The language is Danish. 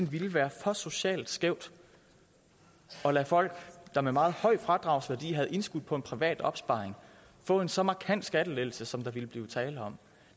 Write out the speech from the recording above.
ville være for socialt skævt at lade folk der med meget høj fradragsværdi havde indskudt beløb på en privat opsparing få en så markant skattelettelse som der ville blive tale om